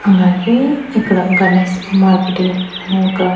అలాగే ఇక్కడ గణేష్ మార్కెటింగ్ అని ఒక--